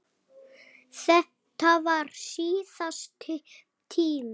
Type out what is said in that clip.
Þetta varð síðasti tíminn.